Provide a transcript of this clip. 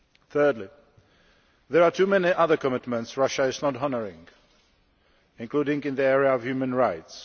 Thirdly, there are too many other commitments Russia is not honouring, including in the area of human rights.